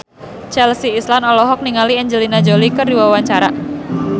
Chelsea Islan olohok ningali Angelina Jolie keur diwawancara